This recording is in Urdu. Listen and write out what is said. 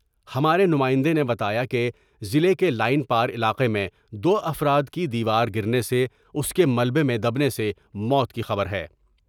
ہمارے نمائندے نے بتایا کہ ضلع کے لائن پار علاقے میں دوافراد کی دیوار گرنے سے اس کے ملبے میں دبنے سے موت کی خبر ہے ۔